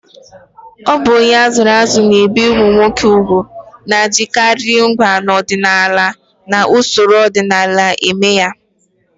Ọ bụ onye a zụrụ azụ na-ebi ụmụ nwoke úgwù, na-ejikarị ngwa ọdịnala na usoro ọdịnala eme ya.